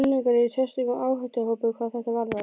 Unglingar eru í sérstökum áhættuhópi hvað þetta varðar.